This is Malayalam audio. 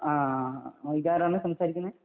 ഇത് ആരാണ് സംസാരിക്കുന്നത്